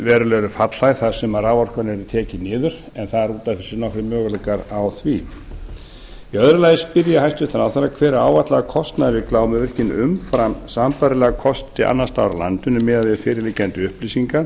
verulegri fallhæð þar sem raforkan er tekin niður en það eru út af fyrir sig nokkrir möguleikar á því annar hver er áætlaður kostnaður við glámuvirkjun umfram sambærilega kosti annars staðar á landinu miðað við fyrirliggjandi upplýsingar